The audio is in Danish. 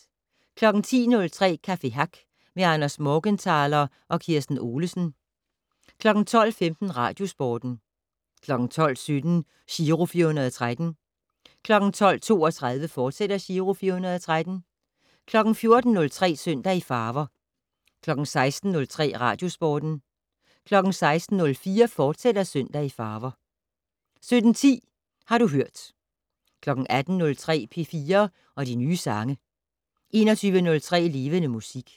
10:03: Café Hack med Anders Morgenthaler og Kirsten Olesen 12:15: Radiosporten 12:17: Giro 413 12:32: Giro 413, fortsat 14:03: Søndag i farver 16:03: Radiosporten 16:04: Søndag i farver, fortsat 17:10: Har du hørt 18:03: P4 og de nye sange 21:03: Levende Musik